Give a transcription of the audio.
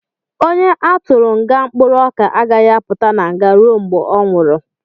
Onye a tụrụ nga mkpụrụ ọka agaghị apụta na nga ruo mgbe ọ nwụrụ